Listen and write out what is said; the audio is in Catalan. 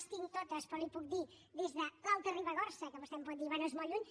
les tinc totes però li’n puc dir des de l’alta ribagorça que vostè em pot dir bé és molt lluny